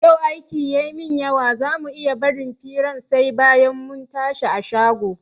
Yau aiki ya min yawa za mu iya barin firan sai bayan mun tashi a shago?